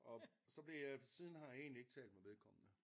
Og så blev jeg siden har jeg egentlig ikke talt med vedkommende